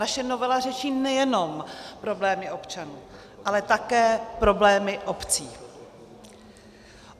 Naše novela řeší nejenom problémy občanů, ale také problémy obcí.